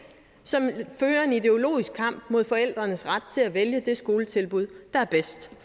som fører en ideologisk kamp mod forældrenes ret til at vælge det skoletilbud der er bedst